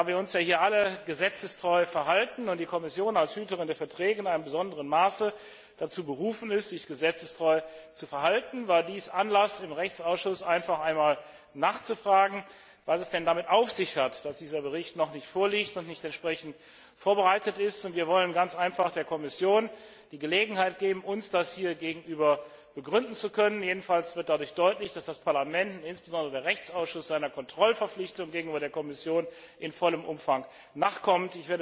Da wir uns alle gesetzestreu verhalten und die Kommission als Hüterin der Verträge in einem besonderen Maße dazu berufen ist, sich gesetzestreu zu verhalten, war dies Anlass, im Rechtsausschuss nachzufragen, was es denn damit auf sich hat, dass dieser Bericht noch nicht vorliegt und auch nicht entsprechend vorbereitet ist. Wir wollen der Kommission ganz einfach die Gelegenheit geben, das uns gegenüber begründen zu können. Jedenfalls wird dadurch deutlich, dass das Parlament und insbesondere der Rechtsausschuss seiner Kontrollverpflichtung gegenüber der Kommission in vollem Umfang nachkommt.